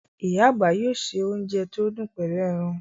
Íyá àgbà yóò ṣe ounjẹ tí ó dùn pẹlú ẹran